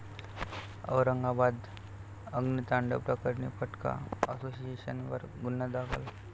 औरंगाबाद अग्नितांडव प्रकरणी फटाका असोसिएशनवर गुन्हा दाखल